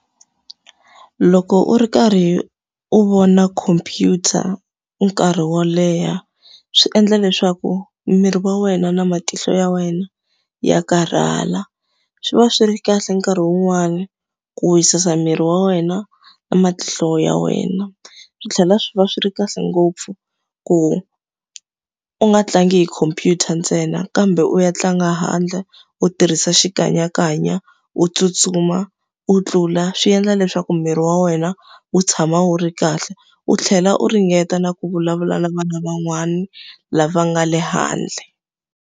Loko u ri karhi u vona computer nkarhi wo leha, swi endla leswaku miri wa wena na matihlo ya wena ya karhala. Swi va swi ri kahle nkarhi wun'wani ku wisisa miri wa wena na matihlo ya wena. Swi tlhela swi va swi ri kahle ngopfu ku u nga tlangi hi khompyuta ntsena, kambe u ya tlanga handle, u tirhisa xikanyakanya, u tsutsuma, u tlula, swi endla leswaku miri wa wena wu tshama wu ri kahle. U tlhela u ringeta na ku vulavula na vana van'wani lava nga le handle.